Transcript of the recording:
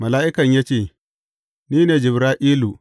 Mala’ikan ya ce, Ni ne Jibra’ilu.